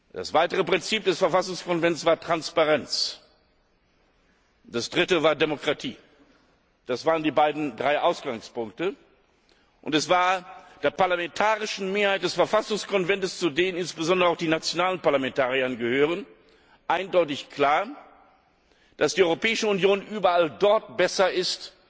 Das zweite Prinzip des Verfassungskonvents war Transparenz, und das Dritte war Demokratie. Das waren die drei Ausgangspunkte, und es war der parlamentarischen Mehrheit des Verfassungskonvents, zu der insbesondere auch die nationalen Parlamentarier gehören, eindeutig klar, dass die Europäische Union überall dort besser ist,